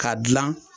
Ka dilan